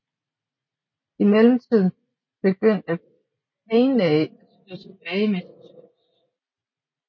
I mellemtiden begyndte Panay at skyde tilbage med sit skyts